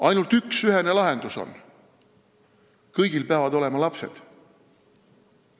Ainult üks ühene lahendus on: kõigil peavad olema lapsed.